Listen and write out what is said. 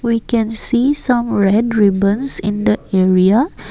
we can see some red ribbons in the area.